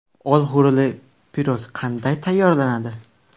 Olxo‘rili pirog qanday tayyorlanadi?